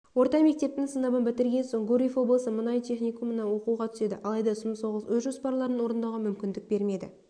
орта мектептің сыныбын бітірген соң гурьев облысы мұнай техникумына оқуға түседі алайда сұм соғыс өз жоспарларын орындауға мүмкіндік бермеді